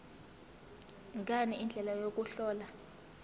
ngani indlela yokuhlola